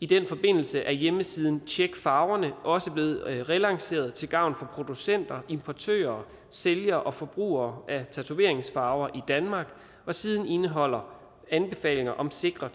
i den forbindelse er hjemmesiden tjek farverne også blevet relanceret til gavn for producenter importører sælgere og forbrugere af tatoveringsfarver i danmark og siden indeholder anbefalinger om sikre